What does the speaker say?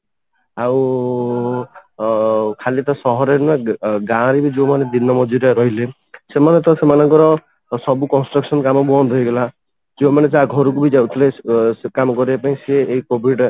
ଆଉ ଅ ଖାଲି ତ ସହରରେ ନୁହଁ ଗାଁରେ ବି ଯୋଉ ମାନେ ଦିନ ମଜୁରୀଆ ରହିଲେ ସେମାନେ ତ ସେମାନଙ୍କର ସବୁ construction କାମ ବନ୍ଦ ହେଇଗଲା ଯୋଉ ମାନେ ଯାହା ମାନେ ଘରକୁ ବି ଯାଉଥିଲେ କାମ କରିବା ପାଇଁ ସେ ଏଇ COVID ରେ